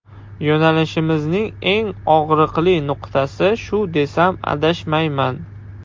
Yo‘nalishimizning eng og‘riqli nuqtasi shu desam adashmayman.